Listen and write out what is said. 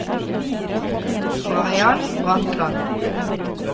Mariann Bratland